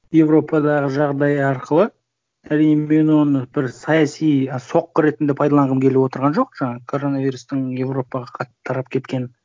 европадағы жағдай арқылы риммен оны бір саяси соққы ретінде пайдаланғым келіп отырған жоқ жаңағы коронавирустың европаға қатты тарап кеткенін